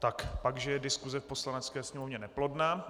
Pak že je diskuse v Poslanecké sněmovně neplodná.